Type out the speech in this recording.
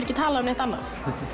ekki talað um neitt annað